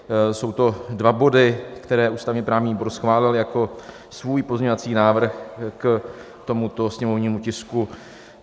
Jsou to dva body, které ústavně-právní výbor schválil jako svůj pozměňovací návrh k tomuto sněmovnímu tisku.